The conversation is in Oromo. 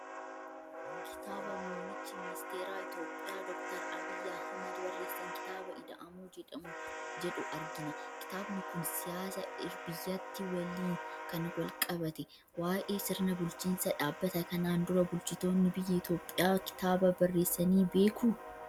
Kitaaba Muummichi Ministeera Itoophiyaa, Dookter Abiyyi Ahmed barreessan kitaaba Ida'amuu jedhu argina. Kitaabni kun siyaasa biyyattii waliin kan wal qabate, waa'ee sirna bulchiinsaa dubbata. Kanaan dura Bulchitoonni biyya Itoophiyaa kitaaba barreessanii beekuu?